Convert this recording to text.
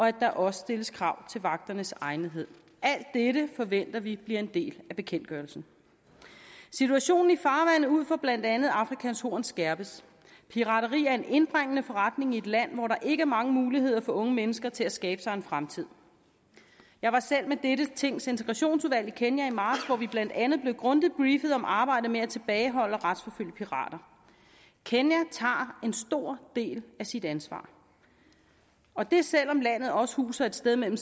at der også stilles krav til vagternes egnethed alt dette forventer vi bliver en del af bekendtgørelsen situationen i farvandet ud for blandt andet afrikas horn skærpes pirateri er en indbringende forretning i et land hvor der ikke er mange muligheder for unge mennesker til at skabe sig en fremtid jeg var selv med dette tings integrationsudvalg i kenya i marts hvor vi blandt andet blev grundigt briefet om arbejdet med at tilbageholde og retsforfølge pirater kenya tager en stor del af sit ansvar og det selv om landet også huser et sted mellem